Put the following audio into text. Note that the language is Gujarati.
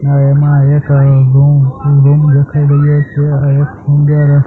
ને એમા એક દેખાય રહ્યો છે એક સુંદર.